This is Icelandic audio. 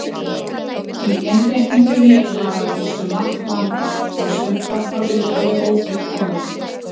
Í innréttingunni var að vísu margt vandað, en sumt var frá upphafi ófullkomið.